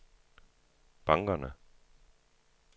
bankerne